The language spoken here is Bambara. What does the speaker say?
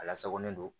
A lasagolen don